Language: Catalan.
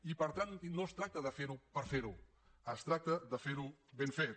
i per tant no es tracta de ferho per fer ho es tracta de fer ho ben fet